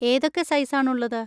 ഏതൊക്കെ സൈസ് ആണ് ഉള്ളത്?